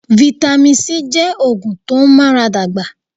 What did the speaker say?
Vitamin C jẹ́ oògùn tó n ara dàgbà